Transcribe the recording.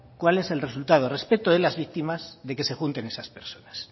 cuál es el resultado respeto de las víctimas de que se junten esas personas